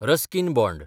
Ruskin bond